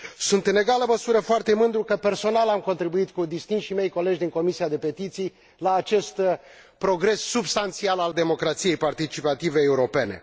Sunt, în egală măsură, foarte mândru că, personal, am contribuit cu distinșii mei colegi din Comisia pentru petiții la acest progres substanțial al democrației participative europene.